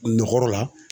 Nɔgɔ la